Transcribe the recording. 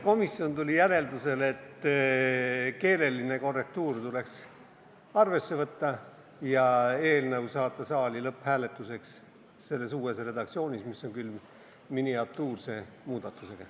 Komisjon tuli järeldusele, et keeleline korrektuur tuleks arvesse võtta ja saata eelnõu saali lõpphääletuseks selles uues redaktsioonis, mis on küll miniatuurse muudatusega.